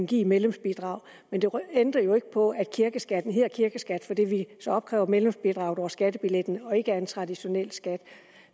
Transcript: give i medlemsbidrag men det ændrer jo ikke på at kirkeskatten hedder kirkeskat fordi vi så opkræver medlemsbidraget over skattebilletten og ikke er en traditionel skat